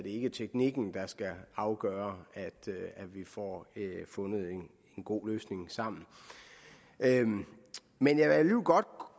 ikke teknikken der skal afgøre om vi får fundet en god løsning sammen men jeg vil godt